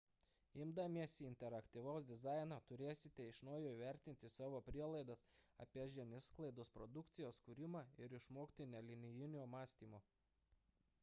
imdamiesi interaktyvaus dizaino turėsite iš naujo įvertinti savo prielaidas apie žiniasklaidos produkcijos kūrimą ir išmokti nelinijinio mąstymo